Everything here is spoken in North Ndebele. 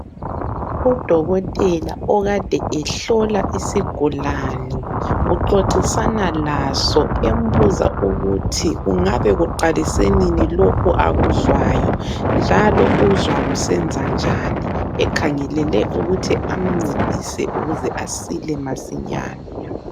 Udokotela okade ehlola isigulane uxoxisana laso embuza ukuthi kungabe kuqalise nini lokho akuzwayo njalo uzwa kusenzanjani ekhangelele ukuthi amncedise ukuze asile masinyane.